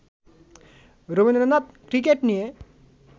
Rabindranath cricket নিয়ে